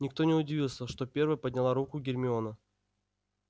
никто не удивился что первой подняла руку гермиона